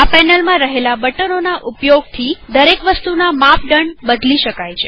આ પેનલમાં રહેલા બટનોના ઉપયોગથી દરેક વસ્તુના માપદંડ બદલી શકાય છે